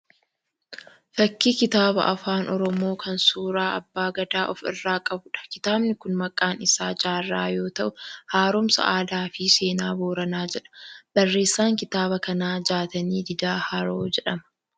Fakkii kitaaba afaan Oromoo kan suuraa abba Gadaa ofi irraa qabuudha. Kitaabni kun maqaan isaa Jaarraa yoo ta'uu haaromsa aadaa fi seenaa Booranaa jedha. Barreessaan kitaaba kanaa Jaatanii Didaa Haroo jedhama.